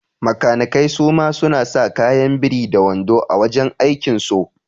Makanikai suma suna sa kaya biri da wando a wajan aikin so